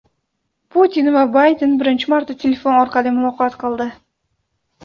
Putin va Bayden birinchi marta telefon orqali muloqot qildi.